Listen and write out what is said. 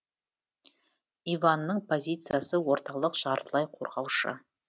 иванның позициясы орталық жартылай қорғаушы